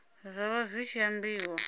zwa vha zwi tshi ambiwa